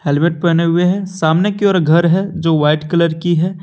Helmet पहने हुए हैं सामने कि ओर घर है जो व्हाइट कलर की है।